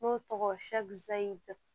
N'o tɔgɔ